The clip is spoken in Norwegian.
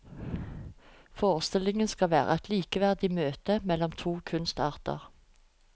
Forestillingen skal være et likeverdig møte mellom to kunstarter.